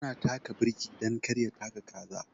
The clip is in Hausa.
Ya na taka birki dan kar ya taka kaza.